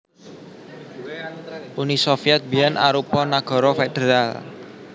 Uni Sovyèt biyèn arupa nagara federal